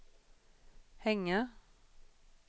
hänga